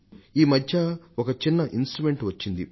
ఈ మధ్య ఒక చిన్న ఇన్స్ట్రుమెంట్ వచ్చింది